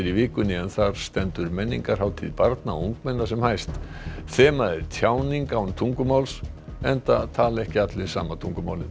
í vikunni en þar stendur menningarhátíð barna og ungmenna sem hæst þemað er tjáning án tungumáls enda tala ekki allir sama tungumálið